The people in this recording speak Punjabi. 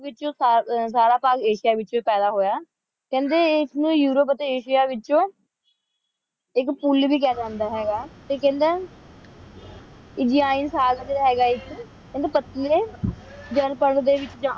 ਵਿਚੋ ਸਾਰਾ ਸਾਲ ਆਸਿਆ ਵਿਚ ਪੇਦਾ ਹੋਯਾ ਕੇਹੰਡੀ ਇਸ ਨੂ ਯੂਰੋਪ ਟੀ ਆਸਿਆ ਵਿਚੋ ਆਇਕ ਪੁਲ ਵੇ ਕਹਾ ਜਾਂਦਾ ਹੇਗਾ ਟੀ ਕੇਹੰਡੀ ਇਸ ਦੇ ਐਨ ਸਜ਼ ਜੇਰੀ ਹੇਗ੍ਯ ਆਇਕ ਓਨੁ